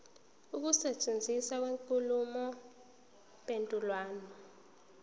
ukusetshenziswa kwenkulumo mpendulwano